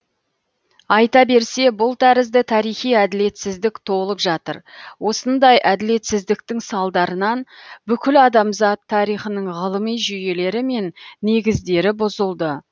айта берсе бұл тәрізді тарихи әділетсіздік толып жатыр осындай әділетсіздіктің салдарынан бүкіл адамзат тарихының ғылыми жүйелері мен негіздері бұзылды